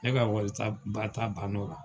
Ne ka wari ta ba ta bann'o la